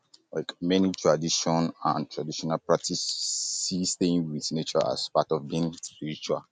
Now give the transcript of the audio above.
many tradition and traditional practice see staying with nature as part of being spiritual